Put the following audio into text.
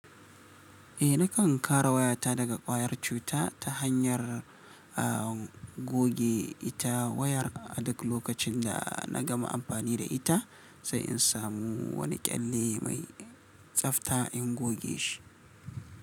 Eh nakan kare wayata daga ƙwayar cuta ta hanyar a goge ita wayar a duk lokacin da na gama amfani da ita sai in samu wani kyalle mai tsafta in goge shi.